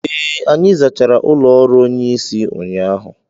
ee, anyị zachara ụlọ ọrụ onye isi ụnyahụ